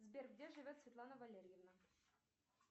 сбер где живет светлана валерьевна